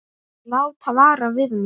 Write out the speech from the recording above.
Þar settu þeir Skapta niður.